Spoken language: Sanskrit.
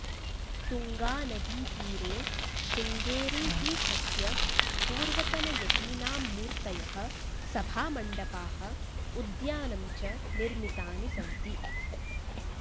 तुङ्गानदीतीरे श्रृङ्गेरीपीठस्य पूर्वतनयतीनां मूर्तयः सभामण्डपाः उद्यानं च निर्मितानि सन्ति